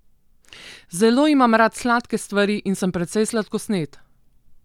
Zelo imam rad sladke stvari in sem precej sladkosned.